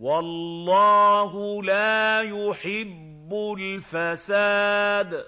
وَاللَّهُ لَا يُحِبُّ الْفَسَادَ